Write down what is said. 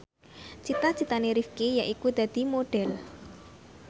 cita citane Rifqi yaiku dadi Modhel